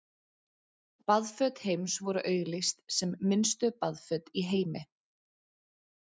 baðföt heims voru auglýst sem „minnstu baðföt í heimi“